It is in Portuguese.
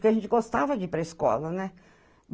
Porque a gente gostava de ir para a escola, né?